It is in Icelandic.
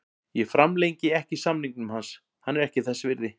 Ég framlengi ekki samningnum hans, hann er ekki þess virði.